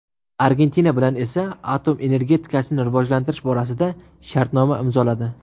Argentina bilan esa atom energetikasini rivojlantirish borasida shartnoma imzoladi.